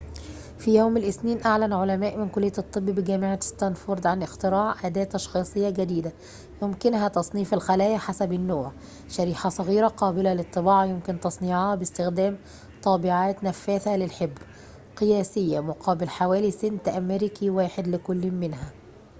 في يوم الاثنين أعلن علماء من كلية الطب بجامعة ستانفورد عن اختراع أداة تشخيصية جديدة يمكنها تصنيف الخلايا حسب النوع شريحة صغيرة قابلة للطباعة يمكن تصنيعها باستخدام طابعات نفاثة للحبر قياسية مقابل حوالي سنت أمريكي واحد لكل منها